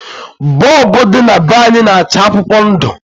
Bọlbụ dị na be anyị na-acha akwụkwọ ndụ